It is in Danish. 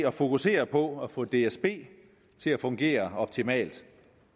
at fokusere på at få dsb til at fungere optimalt